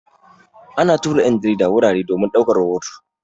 Ana tura 'yan jarida wurare domin ɗauko rahoto.